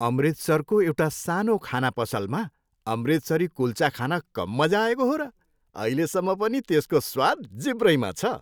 अमृतसरको एउटा सानो खाना पसलमा अमृतसरी कुल्चा खान कम मजा आएको हो र! अहिलेसम्म पनि त्यसको स्वाद जिब्रैमा छ।